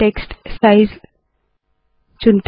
text का size चुनते है